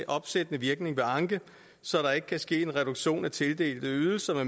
opsættende virkning ved anke så der ikke kan ske en reduktion af tildelte ydelser